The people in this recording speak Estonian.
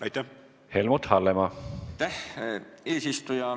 Aitäh, eesistuja!